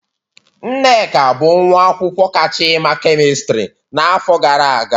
Nneka bụ nwa akwụkwọ kacha ima kemistri n'afọ gara aga